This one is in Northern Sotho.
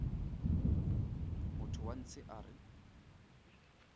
motho wa ntshe a re